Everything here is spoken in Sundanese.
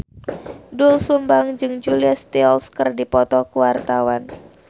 Doel Sumbang jeung Julia Stiles keur dipoto ku wartawan